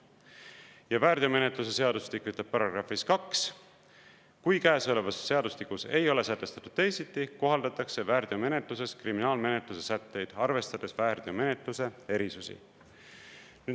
Ja väärteomenetluse seadustik ütleb §‑s 2: kui käesolevas seadustikus ei ole sätestatud teisiti, kohaldatakse väärteomenetluses kriminaalmenetluse sätteid, arvestades väärteomenetluse erisusi.